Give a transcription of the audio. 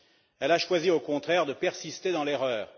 Elle a choisi au contraire de persister dans l'erreur.